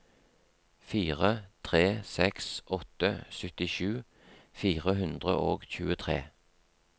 fire tre seks åtte syttisju fire hundre og tjuetre